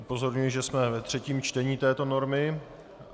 Upozorňuji, že jsme ve třetím čtení této normy.